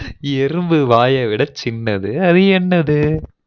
எறும்பு வாயை விட சின்னது அது என்னது